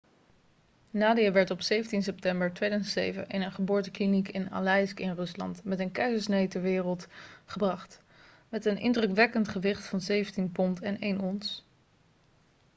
nadia werd op 17 september 2007 in een geboortekliniek in aleisk in rusland met een keizersnede ter wereld gebracht met een indrukwekkend gewicht van 17 pond en 1 ons